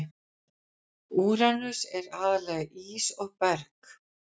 Úranus er aðallega ís og berg.